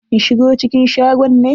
In shigo cikin shagon ne?